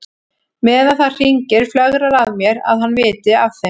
Meðan það hringir flögrar að mér að hann viti af þeim.